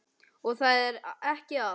Og það er ekki allt.